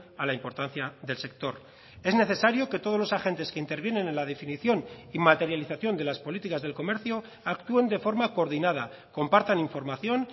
a la importancia del sector es necesario que todos los agentes que intervienen en la definición y materialización de las políticas del comercio actúen de forma coordinada compartan información